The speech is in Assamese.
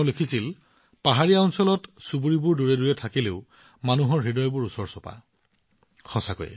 তেওঁ লিখিছিল পৰ্বতৰ ওপৰত বসতি বহু দূৰে দূৰে হব পাৰে কিন্তু মানুহৰ হৃদয় ইজনেসিজনৰ অতি ওচৰত আছে